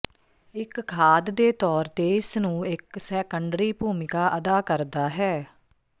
ਇੱਕ ਖਾਦ ਦੇ ਤੌਰ ਤੇ ਇਸ ਨੂੰ ਇੱਕ ਸੈਕੰਡਰੀ ਭੂਮਿਕਾ ਅਦਾ ਕਰਦਾ ਹੈ